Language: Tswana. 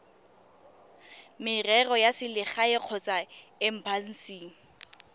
merero ya selegae kgotsa embasing